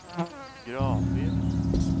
Granvin